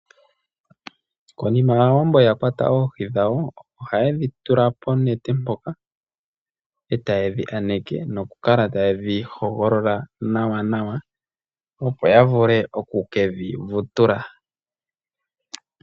Konima Aawambo ya kwata oohi dhawo, oha ye dhi tula ponete mpoka, noku kala taye dhi hogolola nawanawa, opo ya vule oku ke dhi vutula.